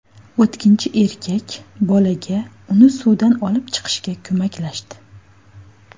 O‘tkinchi erkak bolaga uni suvdan olib chiqishga ko‘maklashdi.